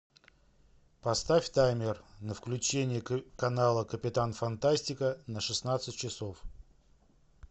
поставь таймер на включение канала капитан фантастика на шестнадцать часов